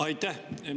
Aitäh!